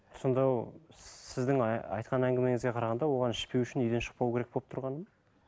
сонда сіздің айтқан әңгімеңізге қарағанда оған ішпеу үшін үйден шықпау керек болып тұрғаны ма